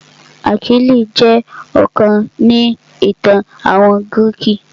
Achilles jẹ́ akọni ni ìtàn àwọn gírìkì.